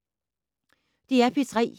DR P3